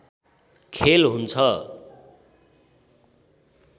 खेल हुन्छ